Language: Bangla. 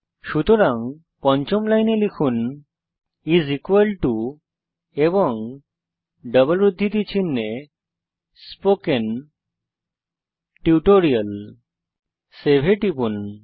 সুতরাং পঞ্চম লাইনে লিখুন এবং ডবল উদ্ধৃতি চিনহে স্পোকেন টিউটোরিয়াল এখন সেভ এ টিপুন